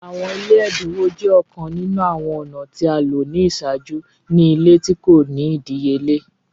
Awọn ile ẹdinwo jẹ ọkan ninu awọn ọna ti a lo ni iṣaaju ni ile ti ko ni idiyele.